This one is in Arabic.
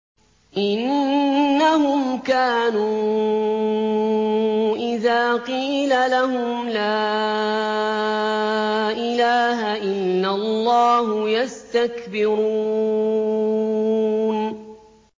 إِنَّهُمْ كَانُوا إِذَا قِيلَ لَهُمْ لَا إِلَٰهَ إِلَّا اللَّهُ يَسْتَكْبِرُونَ